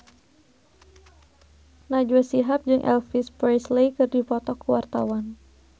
Najwa Shihab jeung Elvis Presley keur dipoto ku wartawan